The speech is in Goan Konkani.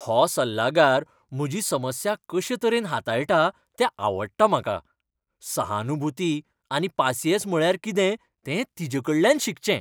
हो सल्लागार म्हजी समस्या कशेतरेन हाताळटा तें आवडटा म्हाका. सहानुभूती आनी पासिंयेंस म्हळ्यार कितें तें तिचेकडल्यान शिकचें.